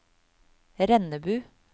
Rennebu